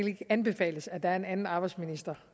arbejdsministeren